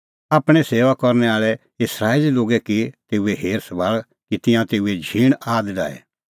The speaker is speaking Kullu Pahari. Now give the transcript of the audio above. आपणैं सेऊआ करनै आल़ै इस्राएली लोगे की तेऊ हेर सभाल़ कि तिंयां तेऊए झींण आद डाहे